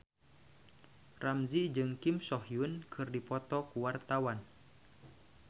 Ramzy jeung Kim So Hyun keur dipoto ku wartawan